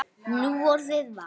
Núorðið var